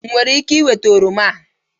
Enwere m ike ịnweta oroma a?